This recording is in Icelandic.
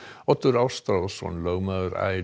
Oddur Ástráðsson lögmaður